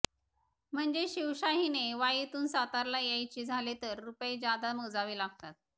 म्हणजे शिवशाहीने वाईतून सातारला यायचे झाले तर रुपये जादा मोजावे लागतात